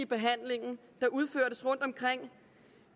behandling der udførtes rundtomkring